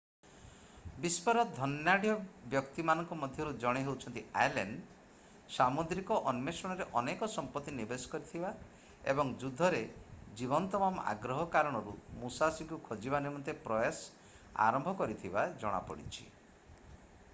ବିଶ୍ୱର ଧନାଢ଼୍ୟ ବ୍ୟକ୍ତିମାନଙ୍କ ମଧ୍ୟରୁ ଜଣେ ହେଉଛନ୍ତି ଆଲେନ୍ ସାମୁଦ୍ରିକ ଅନ୍ୱେଷଣରେ ଅନେକ ସମ୍ପତ୍ତି ନିବେଶ କରିଥିବା ଏବଂ ଯୁଦ୍ଧରେ ଜୀବନ ତମାମ ଆଗ୍ରହ କାରଣରୁ ମୁସାଶୀଙ୍କୁ ଖୋଜିବା ନିମନ୍ତେ ପ୍ରୟାସ ଆରମ୍ଭ କରିଥିବା ଜଣାପଡ଼ିଛି